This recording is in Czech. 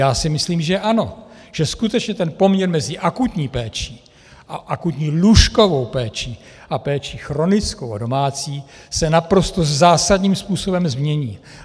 Já si myslím, že ano, že skutečně ten poměr mezi akutní péčí a akutní lůžkovou péčí a péčí chronickou a domácí se naprosto zásadním způsobem změní.